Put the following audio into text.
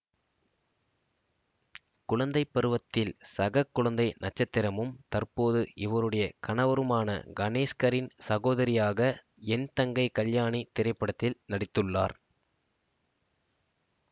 குழந்தைப்பருவத்தில் சககுழந்தை நட்சத்திரமும் தற்போது இவருடைய கணவருமான கணேஷ்கரின் சகோதரியாக என் தங்கை கல்யாணி திரைப்படத்தில் நடித்துள்ளார்